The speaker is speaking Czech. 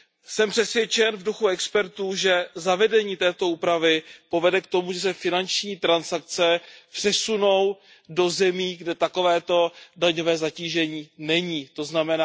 Jsem přesvědčen v duchu expertů, že zavedení této úpravy povede k tomu, že se finanční transakce přesunou do zemí, kde takovéto daňové zatížení není, tzn.